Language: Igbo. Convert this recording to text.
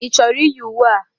Ị chọrọ iyi uwe a?